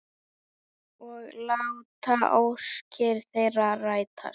Og láta óskir þeirra rætast.